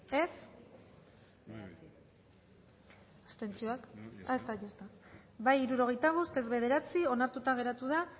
dezakegu bozketaren emaitza onako izan da hirurogeita hamalau eman dugu bozka hirurogeita bost boto aldekoa nueve contra onartuta geratu da